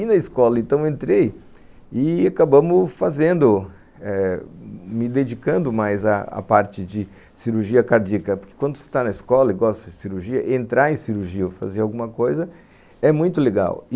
E na escola então eu entrei e acabamos fazendo eh, me dedicando mais à parte de cirurgia cardíaca, porque quando você está na escola e gosta de cirurgia, entrar em cirurgia ou fazer alguma coisa é muito legal.